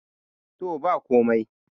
to ba komai